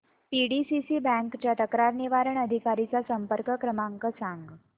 PDCC bank च्या तक्रार निवारण अधिकारी चा संपर्क क्रमांक सांग